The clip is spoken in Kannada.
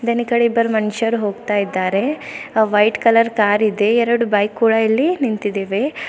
ಬೆನ್ ಇಕಡೆ ಇಬ್ರು ಮನುಷ್ಯ ಹೋಗುತ್ತಿದ್ದಾರೆ ಆ ವೈಟ್ ಕಲರ್ ಕಾರಿದೆ ಎರಡು ಬೈಕ್ ಕೂಡ ಇಲ್ಲಿ ನಿಂತಿದ್ದಾವೆ.